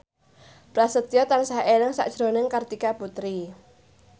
Prasetyo tansah eling sakjroning Kartika Putri